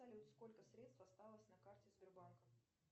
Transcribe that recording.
салют сколько средств осталось на карте сбербанка